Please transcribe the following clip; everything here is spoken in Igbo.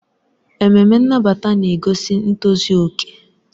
Ememe nnabata na-egosi ntozu okè.